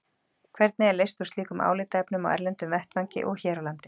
Hvernig er leyst úr slíkum álitaefnum á erlendum vettvangi og hér á landi?